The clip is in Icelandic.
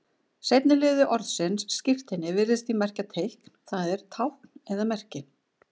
Seinni liður orðsins skírteini virðist því merkja teikn, það er tákn eða merki.